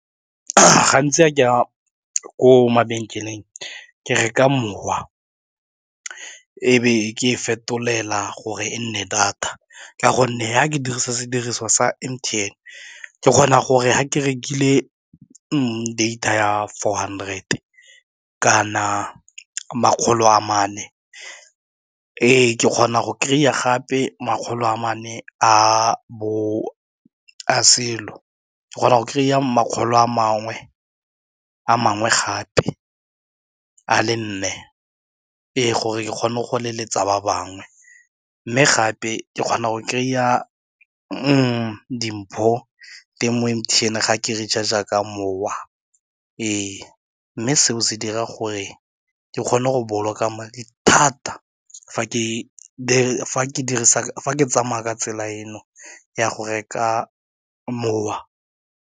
Gantsi a ke a ko mabenkeleng ke reka mowa, e be ke e fetolela gore e nne data ka gonne ya ke dirisa sediriswa sa M_T_N ke kgona gore ga ke rekile data ya four hundred kana makgolo a mane ee, ke kgona go kry-a gape makgolo a mane o kgona go kry a makgolo a a mangwe gape a le nne e gore ke kgone go leletsa ba bangwe, mme gape ke kgona go kry-a dimpho teng mo M_T_N ga ke recharge ka mowa ee mme seo se dira gore ke kgone go boloka madi thata fa ke dirisa ke tsamaya ka tsela eno ya go reka mowa.